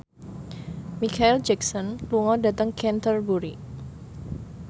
Micheal Jackson lunga dhateng Canterbury